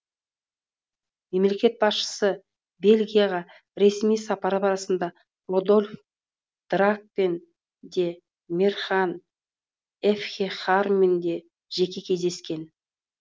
мемлекет басшысы бельгияға ресми сапары барысында рольф драакпен де мехран эфтехармен де жеке кездескен